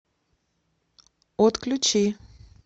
отключи